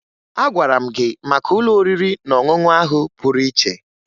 Agwara m gị maka ụlọ oriri na ọṅụṅụ ahụ pụrụ iche